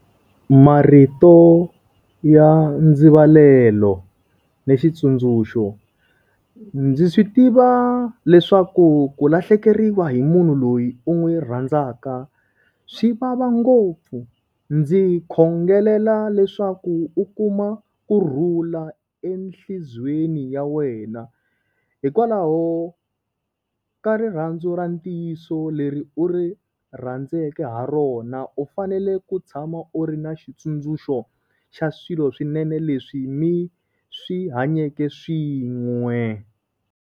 Marito ya ndzivalelo ni xitsundzuxo. Ndzi swi tiva leswaku ku lahlekeriwa hi munhu loyi u n'wi rhandzaka swi vava ngopfu. Ndzi khongelela leswaku u kuma kurhula enhlizwiyeni ya wena. Hikwalaho ka rirhandzu ra ntiyiso leri u ri rhandzeke ha rona u fanele ku tshama u ri na xitsundzuxo xa swilo swinene leswi mi swi hanyeke swin'we.